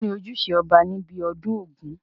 kín ni ojúṣe ọba ní ibi ọdún ògún?